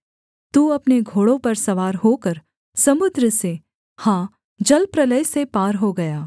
तू अपने घोड़ों पर सवार होकर समुद्र से हाँ जलप्रलय से पार हो गया